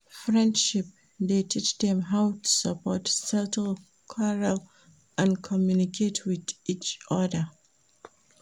Friendship de teach dem how to support, settle quarell and communicate with each other